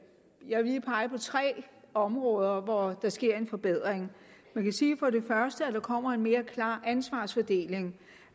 jeg vil lige pege på tre områder hvor der sker en forbedring man kan sige for det første at der kommer en mere klar ansvarsfordeling